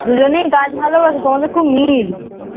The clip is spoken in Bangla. দুজনেই গাছ ভালোবাসো দুজনের খুব মিল